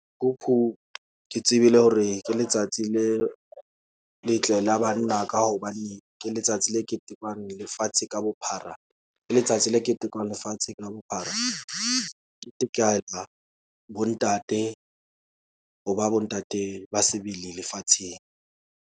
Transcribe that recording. Ke tsebile hore ke letsatsi le letle la banna. Ka hobane ke letsatsi le ketekwang lefatshe ka bophara, ke letsatsi le ketekwang lefatsheng ka bophara. bo ntate ho ba bo ntate, ba sebele lefatsheng.